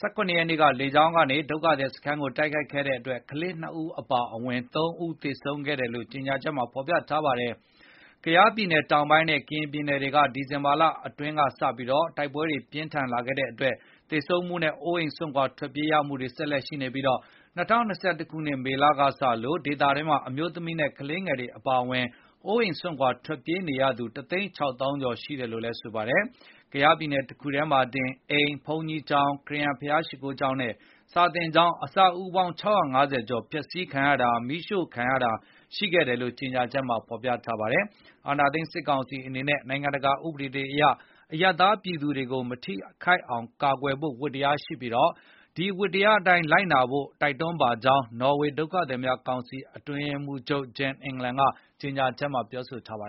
၁၇ ရက်နေ့က လေကြောင်းကနေ ဒုက္ခသည်စခန်းကိုတိုက်ခိုက်ခဲ့တဲ့အတွက် ကလေး ၂ ဦးအပါအဝင် ၃ ဦးသေဆုံးခဲ့တယ်လို့ ကြေငြာချက်မှာဖေါ်ပြထားပါတယ်။ ကယားပြည်နယ်တောင်ပိုင်းနဲ့ ကရင်ပြည်နယ်တွေအတွင်း ဒီဇင်ဘာလအတွင်းကစတင်ပြီး တိုက်ပွဲတွေပြင်းထန်လာခဲ့တဲ့အတွက် သေဆုံးမှုနဲ့ အိုးအိမ်စွန့်ခွါထွက်ပြေးရမှုတွေ ဆက်လက်ဖြစ်ပွားနေပြီး၊ ၂၀၂၁ ခုနှစ်မေကစလို့ ဒီဒေသတွေမှာ အမျိုးသမီးနဲ့ ကလေးငယ်တွေအပါအဝင် အိုးအိမ်စွန်ခွါထွက်ပြေးနေရသူ ၁ သိန်း ၆ သောင်းကျော် ရှိနေတယ်လို့လည်းဆိုပါတယ်။ ကယားပြည်နယ်တခုထဲမှာတင် အိမ်၊ ဘုန်းကြီးကျောင်း၊ ခရစ်ယန်ဘုရားကျောင်းနဲ့ စာသင်ကျောင်း အဆောက်အဦး ၆၅၀ ကျော် ဖျက်စီးတာ၊ မီးရှို့တာ ခံခဲ့ရတယ်လို့လည်း ကြေညာချက်မှာဖေါ်ပြထားပါတယ်။ အာဏာသိမ်းစစ်ကောင်စီအနေနဲ့ နိုင်ငံတကာဥပဒေတွေအရ အရပ်သားပြည်သူတွေကို မထိခိုက်အောင် ကာကွယ်ဖို့ ဝတ္တရားရှိပြီး၊ ဒီဝတ္တရားအတိုင်း လိုက်နာဖို့ တိုက်တွန်းပါကြောင်း နော်ဝေဒုက္ခသည်ကောင်စီအတွင်းရေးမှုးချုပ် Jan Egeland ကကြေငြာချက်မှာ ပြောဆိုထားပါတယ်